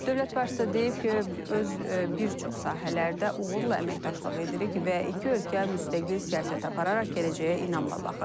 Dövlət başçısı deyib ki, öz bir çox sahələrdə uğurla əməkdaşlıq edirik və iki ölkə müstəqil siyasət apararaq gələcəyə inamla baxır.